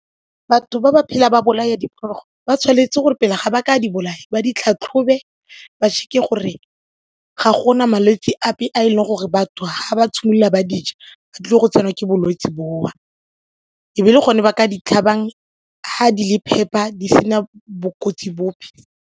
Batho ba ba phela ba bolaya diphologolo ba tshwanetse gore pele ga ba ka di bolaya ba di tlhatlhobe ba check-e gore ga gona malwetse ape a e leng gore batho ga ba tshimolola ba dija ba tlile go tsenwa ke bolwetse boo e be le gone ba ka di tlhabang, ga di le phepa di sena bokotsi bope.